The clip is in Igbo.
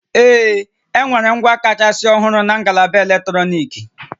Ee, enwere ngwa kachasị ọhụrụ na ngalaba eletrọnịkị